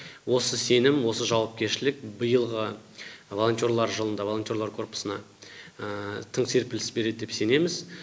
осы сенім осы жауапкершілік биылғы волонтерлар жылында волонтерлар корпусына тың серпіліс береді деп сенеміз